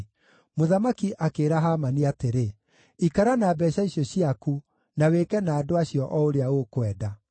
Mũthamaki akĩĩra Hamani atĩrĩ, “Ikara na mbeeca icio ciaku, na wĩke na andũ acio o ũrĩa ũkwenda.”